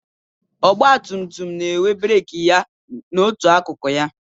Ọgbatumtum na-enwe breeki ya n'otu akụkụ ya.